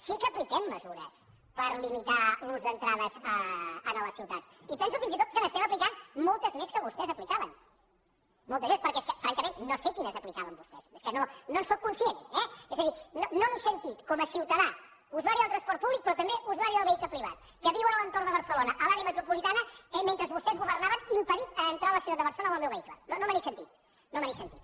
sí que apliquem mesures per limitar l’ús d’entrades a les ciutats i penso fins i tot que n’estem aplicant moltes més que les que vostès aplicaven moltes més perquè és que francament no sé quines aplicaven vostès és que no en sóc conscient eh és a dir no m’he sentit com a ciutadà usuari del transport públic però també usuari del vehicle privat que viu a l’entorn de barcelona a l’àrea metropolitana mentre vostès governaven impedit a entrar a la ciutat de barcelona amb el meu vehicle no me n’he sentit no me n’he sentit